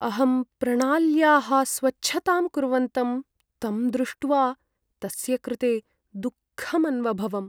अहं प्रणाल्याः स्वच्छतां कुर्वन्तं तं दृष्ट्वा, तस्य कृते दुःखम् अन्वभवम्।